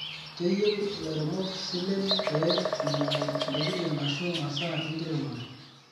Keyieu ilairemok silen pee einyangu ntokitin ashu masaa enkiremore